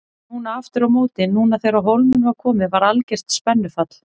Núna aftur á móti, núna þegar á hólminn var komið var algert spennufall.